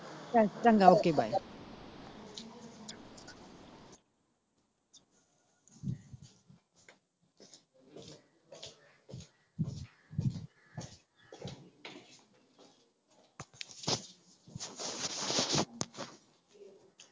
ਚਲ ਚੰਗਾ okay bye.